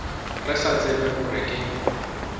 re sa tsebe gore ke